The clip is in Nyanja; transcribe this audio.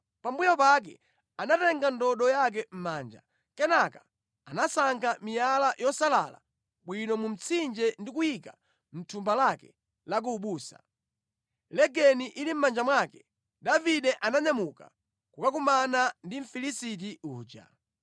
Pambuyo pake anatenga ndodo yake mʼmanja. Kenaka anasankha miyala yosalala bwino mu mtsinje ndi kuyiika mʼthumba lake la ku ubusa. Legeni ili mʼmanja mwake, Davide ananyamuka kukakumana ndi Mfilisiti uja.